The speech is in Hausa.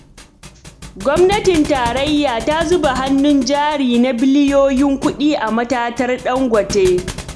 Gwamnatin Tarayya ta zuba hannun jari na biliyoyin kuɗi a matatar Dangote.